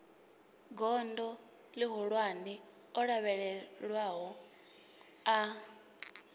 gondo ihulwane o lavhelelwaho a